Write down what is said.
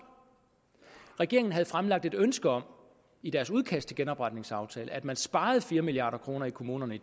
regeringen havde fremlagt et ønske om i deres udkast til genopretningsaftalen at man sparede fire milliard kroner i kommunerne i